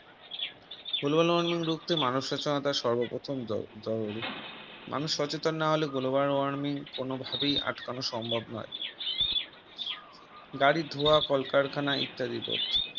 Global warming এর রুখতে মানুষ সচেনতার সর্বপ্রথম জরুরি মানুষ সচেতন না হলে Global warming কোনোভাবেই আটকানো সম্ভব নয় গাড়ি ধোয়া কলকারখানা ইত্যাদির রোধ